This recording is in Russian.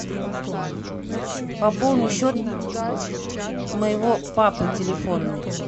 пополни счет моего папы телефонный